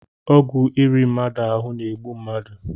Ọgwụ iri mmadụ ahụ na-egbu mmadụ